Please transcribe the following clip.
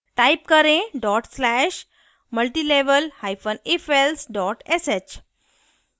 type करें dot slash multilevel hyphen ifelse dot sh